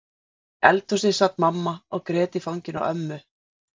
Inni í eldhúsi sat mamma og grét í fanginu á ömmu.